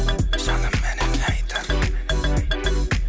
жаным менің не айтады